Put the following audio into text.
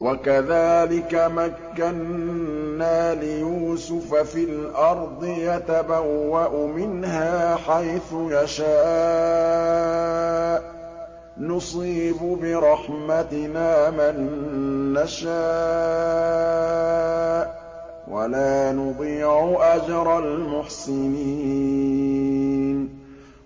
وَكَذَٰلِكَ مَكَّنَّا لِيُوسُفَ فِي الْأَرْضِ يَتَبَوَّأُ مِنْهَا حَيْثُ يَشَاءُ ۚ نُصِيبُ بِرَحْمَتِنَا مَن نَّشَاءُ ۖ وَلَا نُضِيعُ أَجْرَ الْمُحْسِنِينَ